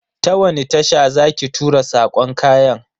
Ta wani tasha za ki tura sakon kayan?